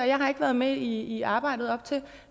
jeg har ikke været med i arbejdet op til